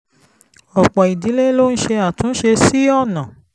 ọ̀pọ̀ ìdílé ló ń ṣe àtúnṣe sí ọ̀nà